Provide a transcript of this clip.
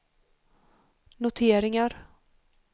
noteringar